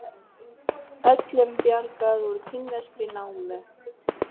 Öllum bjargað úr kínverskri námu